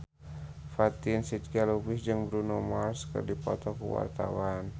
Fatin Shidqia Lubis jeung Bruno Mars keur dipoto ku wartawan